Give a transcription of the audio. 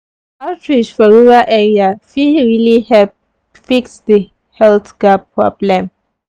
outreach for rural area fit really help fix the health gap problem.